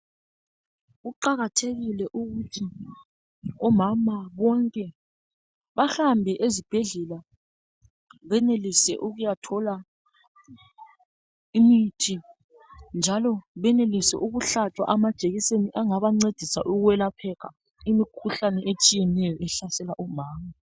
Kuqakathekile ukuthi omama bonke bahambe ezibhedlela benelise ukuyathola imithi njalo benelise ukuhlatshwa amajekiseni engabancedisa ukuvikela imikhuhlane ehlasela omama